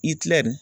I tilarɛ nin